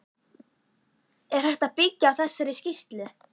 Er hægt að byggja á þessari skýrslu?